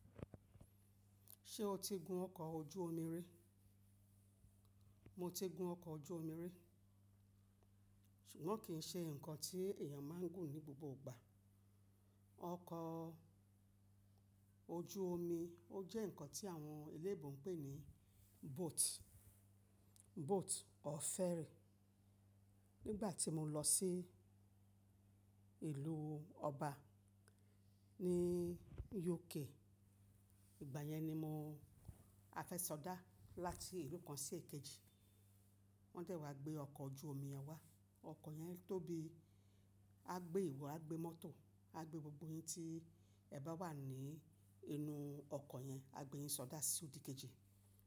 Ṣé o ti gun ọkọ̀ ojú omi rí? Mo ti gun ọkọ̀ ojú omi rí, ṣùgbọ́n kì í ṣe nǹkan tí èèyàn máa ń gùn ní gbogbo ìgbà. Ọkọ̀ ojú omi ó jẹ́ nǹkan tí àwọn eléèbùn ń pè ní boat, boat or ferry. Nígbà tí mo lọ sí ìlú ọba ní UK, ìgbà yẹn ni mo afẹ́ sọdá láti ìlú kan sí èkejì. Wọ́n dẹ̀ wá gbé ọkọ̀ ojú omi yen wá. Ọkọ̀ yẹn tóbi, a gbé ìwọ, a gbé mọ́tò, a gbé gbogbo yin tí ẹ bá wà ní inú ọkọ̀ yẹn, a gbé yín sọdá sí òdìkejì.